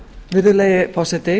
virðulegi forseti